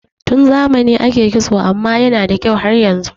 Tun zamanai ake kitso amma yana da kyau har yanzu